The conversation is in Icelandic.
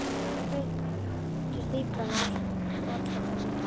Svo brestur stíflan og allar tala í einu.